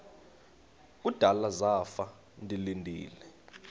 kudala zafa ndilinde